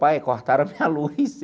Pai, cortaram a minha luz.